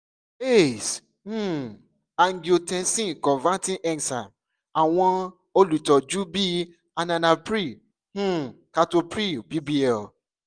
ace um angiotensin converting enzyme awọn olutọju bi enalapril um captopril bbl